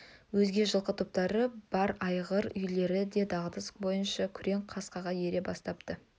өзге жылқы топтары бар айғыр үйірлері де дағдысы бойынша күрең қасқаға ере бастапты